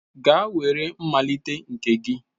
Gaa were mmalite nke gị